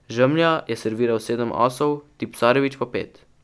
Žemlja je serviral sedem asov, Tipsarević pa pet.